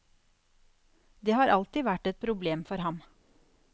Det har alltid vært et problem for ham.